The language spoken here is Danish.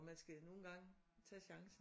Og man skal nogle gange tage chancen